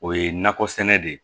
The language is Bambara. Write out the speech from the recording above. O ye nakɔ sɛnɛ de ye